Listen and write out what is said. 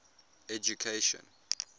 education